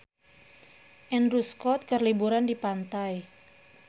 Andrew Scott keur liburan di pantai